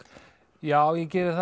já ég geri það